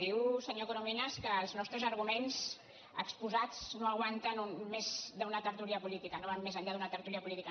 diu senyor corominas que els nostres arguments exposats no aguanten més d’una tertúlia política no van més enllà d’una tertúlia política